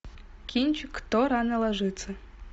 кинчик кто рано ложится